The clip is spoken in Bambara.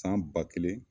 San ba kelen